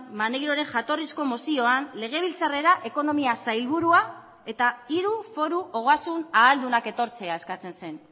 maneiroren jatorrizko mozioan legebiltzarrera ekonomia sailburua eta hiru foru ogasun ahaldunak etortzea eskatzen zen